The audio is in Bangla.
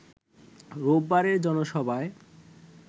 রোববারের জনসভায়